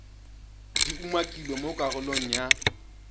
di umakilweng mo karolong ya